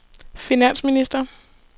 finansminister